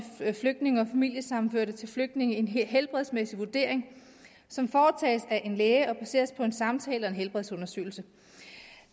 flygtninge og familiesammenførte til flygtninge en helbredsmæssig vurdering som foretages af en læge og baseres på en samtale og en helbredsundersøgelse